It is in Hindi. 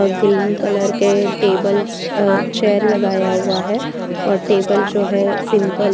व ग्रीन कलर के टेबल्स चेयर लगाया हुआ है और टेबल जो है सिंपल है।